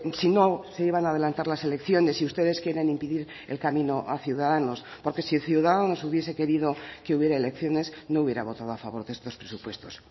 si no se iban a adelantar las elecciones y ustedes quieren impedir el camino a ciudadanos porque si ciudadanos hubiese querido que hubiera elecciones no hubiera votado a favor de estos presupuestos